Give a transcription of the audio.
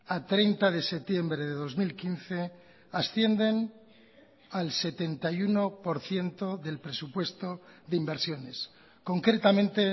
a treinta de septiembre de dos mil quince ascienden al setenta y uno por ciento del presupuesto de inversiones concretamente